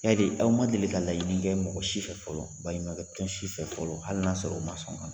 Yali aw ma deli ka laɲini kɛ mɔgɔ si fɛ fɔlɔ, baɲuman kɛ tɔn si fɛ fɔlɔ ,hali n'a sɔrɔ o ma sɔn